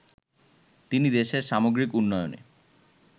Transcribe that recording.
তিনি দেশের সামগ্রিক উন্নয়নে